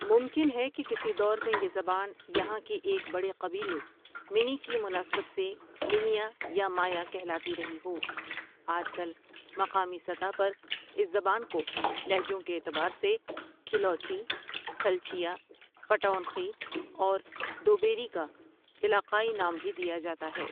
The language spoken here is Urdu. ممکن ہے کہ کسی دور میں یہ زبان یہاں کے ایک بڑے قبیلے منی کی مناسبت سے منِیا یا مایاں کہلاتی رہی ہو آج کل مقامی سطح پر اس زبان کو لہجوں کے اعتبار سے کھلوچی کھلچیا، پٹونڅی اور دوبیری کا علاقائی نام بھی دیا جاتا ہے ۔